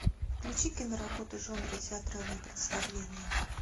включи киноработу жанра театральное представление